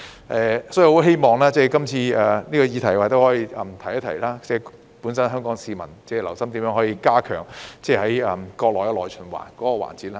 我亦希望藉這項議題提一提，香港市民要留心如何加強國家內循環的環節。